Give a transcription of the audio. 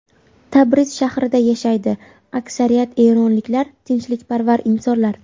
Tabriz shahrida yashaydi Aksariyat eronliklar tinchlikparvar insonlar.